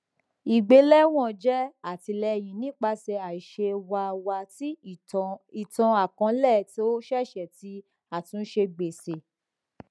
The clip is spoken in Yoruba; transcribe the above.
igbelewọn jẹ atilẹyin nipasẹ aiṣe wa wa ti itanakọọlẹ to ṣẹṣẹ ti atunṣe gbese